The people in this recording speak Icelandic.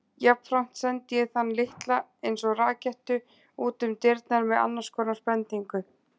Jafnframt sendi ég þann litla einsog rakettu útum dyrnar með annars konar bendingu.